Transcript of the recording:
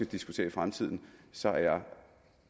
diskutere i fremtiden så jeg er